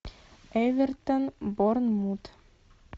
эвертон борнмут